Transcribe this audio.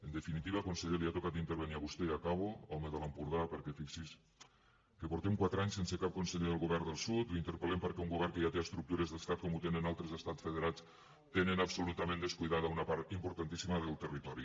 en definitiva conseller li ha tocat intervenir a vostès ja acabo home de l’empordà perquè fixi’s que portem quatre sense cap conseller del govern del sud l’interpel·lem perquè un govern que ja té estructures d’estat com ho tenen altres estats federats tenen absolutament descuidada una part importantíssima del territori